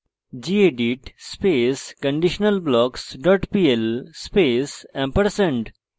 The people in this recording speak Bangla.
gedit space conditionalblocks dot pl space &